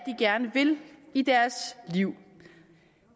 gerne vil i deres liv